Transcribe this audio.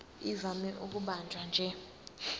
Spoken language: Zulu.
ivame ukubanjwa nje